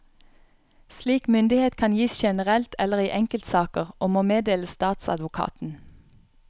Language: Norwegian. Slik myndighet kan gis generelt eller i enkeltsaker og må meddeles statsadvokaten.